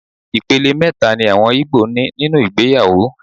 Ìpele mẹ́ta ni àwọn igbo ní nínú ìgbéyàwó.